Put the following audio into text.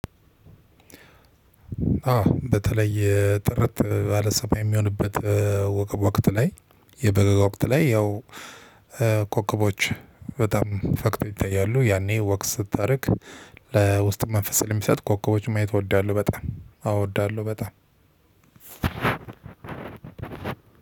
አዎ በተለይ ጥርት ባለሰባ የሚሆንበት ወቅት ላይ የበጋ ወቅት ላይ ያው ኮከቦች በጣም ፈክተው ይታያሉ ያኔ ወክ ስታደርግ ለውስጥ መንፈስ ላይ የሚሰጥ ኮከቦችን ማየት እወዳለሁ። በጣም አወዳለሁ በጣም።